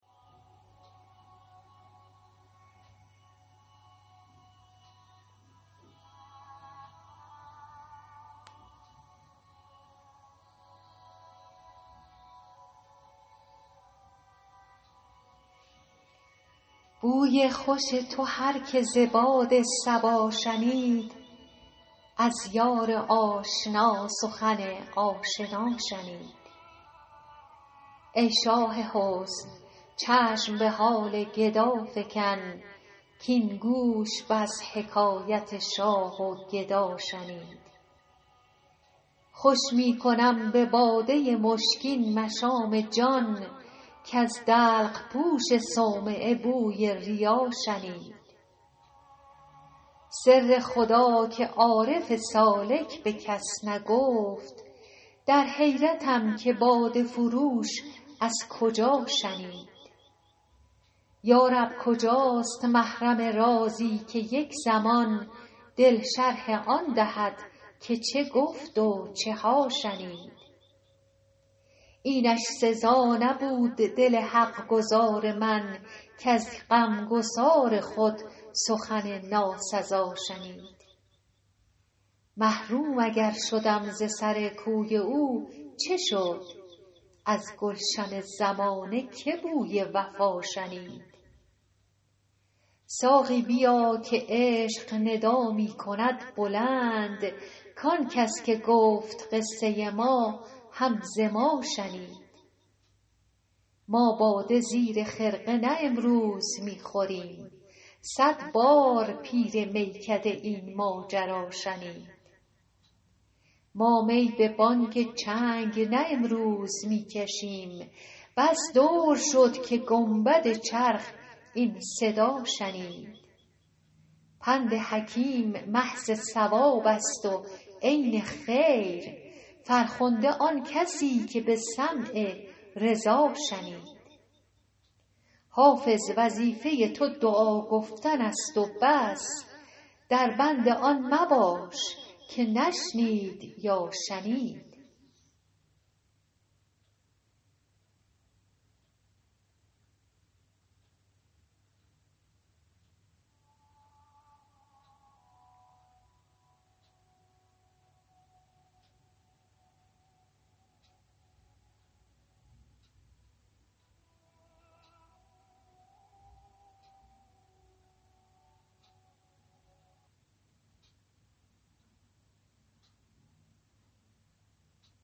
بوی خوش تو هر که ز باد صبا شنید از یار آشنا سخن آشنا شنید ای شاه حسن چشم به حال گدا فکن کـاین گوش بس حکایت شاه و گدا شنید خوش می کنم به باده مشکین مشام جان کز دلق پوش صومعه بوی ریا شنید سر خدا که عارف سالک به کس نگفت در حیرتم که باده فروش از کجا شنید یا رب کجاست محرم رازی که یک زمان دل شرح آن دهد که چه گفت و چه ها شنید اینش سزا نبود دل حق گزار من کز غمگسار خود سخن ناسزا شنید محروم اگر شدم ز سر کوی او چه شد از گلشن زمانه که بوی وفا شنید ساقی بیا که عشق ندا می کند بلند کان کس که گفت قصه ما هم ز ما شنید ما باده زیر خرقه نه امروز می خوریم صد بار پیر میکده این ماجرا شنید ما می به بانگ چنگ نه امروز می کشیم بس دور شد که گنبد چرخ این صدا شنید پند حکیم محض صواب است و عین خیر فرخنده آن کسی که به سمع رضا شنید حافظ وظیفه تو دعا گفتن است و بس در بند آن مباش که نشنید یا شنید